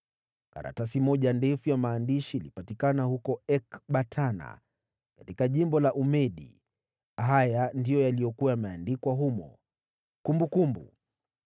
Karatasi moja ndefu ya maandishi ilipatikana huko Ekbatana katika jimbo la Umedi. Haya ndiyo yaliyokuwa yameandikwa humo: Kumbukumbu: